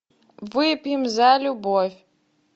выпьем за любовь